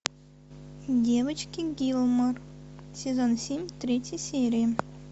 девочки гилмор сезон семь третья серия